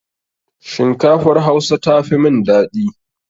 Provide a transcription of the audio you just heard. Shinkafar Hausa tafi min dadi.